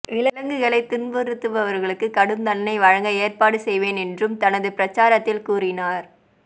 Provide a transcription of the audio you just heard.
விலங்குகளை துன்புறுத்துபவர்களுக்கு கடும் தண்டனை வழங்க ஏற்பாடு செய்வேன் என்றும் தனது பிரச்சாரத்தில் கூறினார்